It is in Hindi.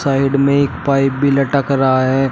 साइड में एक पाइप भी लटक रहा है।